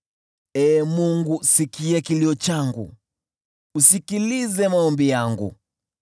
Ee Mungu, sikia kilio changu, usikilize maombi yangu.